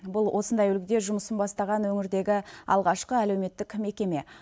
бұл осындай үлгіде жұмысын бастаған өңірдегі алғашқы әлуметтік мекеме